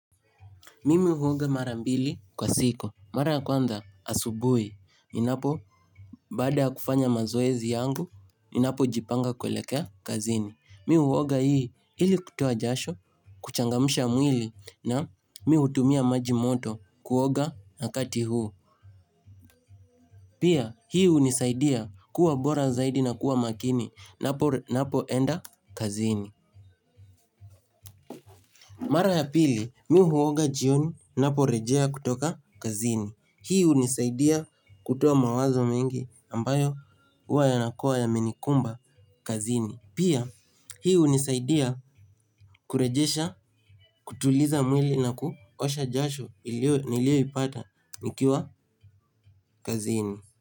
Mimi huonga mara mbili kwa siku. Mara ya kwanza asubui. Ninapo baada ya kufanya mazoezi yangu, ninapo jipanga kuelekea kazini. Mi huonga hii ili kutoa jasho, kuchangamusha mwili na mi hutumia maji moto kuonga na kati huu. Pia hii unisaidia kuwa bora zaidi na kuwa makini. Napo enda kazini. Mara ya pili, mi huoga jioni. Napo rejea kutoka kazini. Hii unisaidia kutoa mawazo mengi ambayo uwa yanakua yamenikumba kazini. Pia hii unisaidia kurejesha kutuliza mwili na kuosha jasho nilioipata nikiwa kazini.